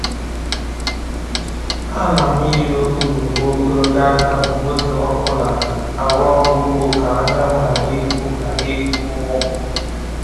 Ana m yi okpu na uwe ogologo aka mgbe oge ọkụ na-arụ ọrụ ugbo ka anyanwụ ghara ịkụ ghara ịkụ m ọkụ.